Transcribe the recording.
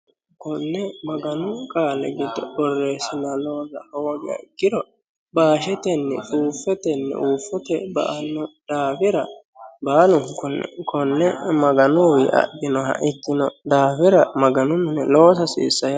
KOne maganu qaali giddo boreesinonihura ikkiro baashetini huufoteni huufote ba'ano daafira baalunkuni konne maganuniwiyi adhinoha ikkino daafira maganu mine loosa hasiisanno yaate